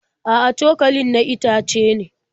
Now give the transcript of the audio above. A'a, cokalin na itace ne.